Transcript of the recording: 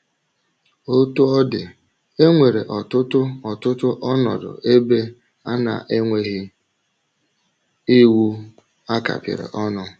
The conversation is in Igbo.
Otú ọ dị, e nwere ọtụtụ ọtụtụ ọnọdụ ebe a na - enweghị iwu a kapịrị ọnụ.